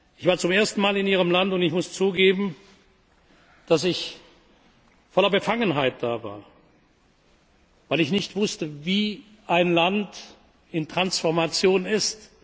Ich war zum ersten Mal in Ihrem Land, und ich muss zugeben, dass ich voller Befangenheit da war, weil ich nicht wusste, wie ein Land in Transformation ist.